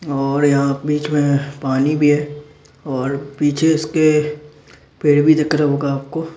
और यहां पे जो है पानी भी है और पीछे उसके पेड़ भी दिख रहा होगा आपको।